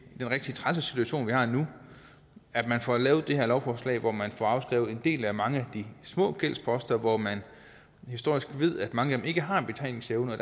rigtig trælse situation vi har nu at man får lavet det her lovforslag hvor man får afskrevet en del af mange af de små gældsposter hvor man historisk ved mange ikke har betalingsevne og